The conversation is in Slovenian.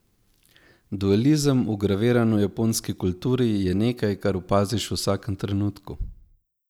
Dualizem, vgraviran v japonski kulturi, je nekaj, kar opaziš v vsakem trenutku.